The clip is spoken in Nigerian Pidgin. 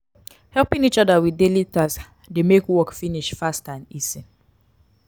helping each other with daily task de make work finish fast and easy